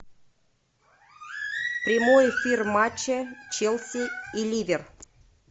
прямой эфир матча челси и ливер